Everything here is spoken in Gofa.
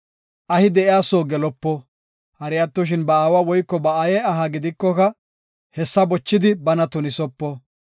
Ahi de7iya soo gelopo; hari attoshin ba aawa woyko ba aaye aha gidikoka, hessa bochidi bana tunisopo.